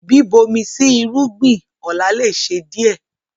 Bíbomi sí irúgbìn ọlá lè ṣe díẹ̀